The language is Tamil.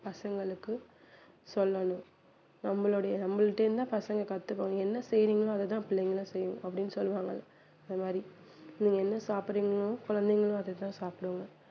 பசங்களுக்கு சொல்லணும் நம்மளுடைய நம்மள்ட்ட இருந்து தான் பசங்க கத்துப்பாங்க நீங்க என்ன செய்றீங்களோ அதை தான் பிள்ளைகளும் செய்யும் அப்படின்னு சொல்லுவாங்க இல்ல அது மாதிரி நீங்க என்ன சாப்பிடுறீங்களோ குழந்தைகளும் அது தான் சாப்பிடுவாங்க